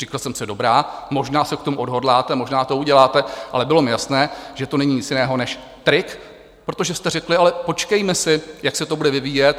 Říkal jsem si: Dobrá, možná se k tomu odhodláte, možná to uděláte, ale bylo mi jasné, že to není nic jiného než trik, protože jste řekli: Ale počkejme si, jak se to bude vyvíjet.